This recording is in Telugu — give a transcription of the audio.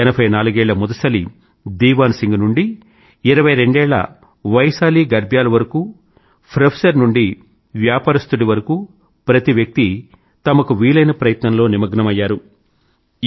ఎనభై నాలుగేళ్ల ముదుసలి దీవాన్ సింగ్ నుండి ఇరవై రెండేళ్ళ వైశాలి గర్బ్యాల్ వరకు ప్రొఫెసర్ నుండి వ్యాపారస్తుడి వరకూ ప్రతి వ్యక్తి తమకు వీలైన ప్రయత్నంలో నిమగ్నమయ్యారు